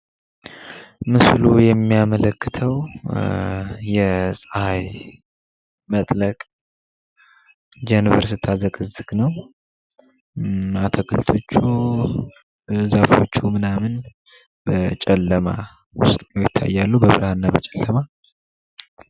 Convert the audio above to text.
ምስሉ የሚያመለክተው የጸሃይ መጥለቅ ጀንበር ስታዘቀዝቅ ነው ፤ አትክልቶቹ በዛፎቹ ምናምን በጨለማ ዉስጥ ሁነዉ ይታያሉ ፤ በብርሃን እና በጨለማ።